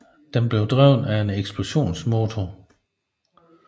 Den blev drevet af en eksplosionsmotor